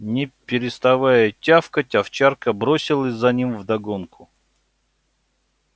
не переставая тявкать овчарка бросилась за ним вдогонку